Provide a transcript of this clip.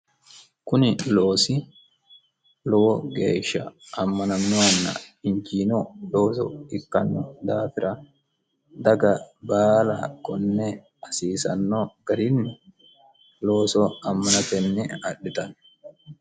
kuni loosi lowo geeshsha ammanamminonna injiino looso ikkanno daafira daga baala konne hasiisanno garinni looso ammanatenni adhitanno